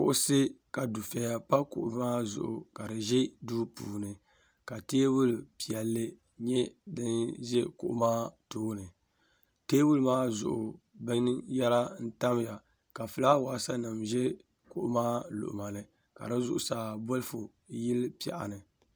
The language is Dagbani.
Kuɣusi ka dufeya pa kuɣu maa zuɣu kadi ʒɛ duu puuni ka teebuli piɛlli nyɛ dinʒɛ kuɣu maa tooni teebuli maa zuɣu binyera n tamya ka filaawasi ʒɛ kuɣumaa luɣumani ka di zuɣusaa bolfu yili piɛɣuni.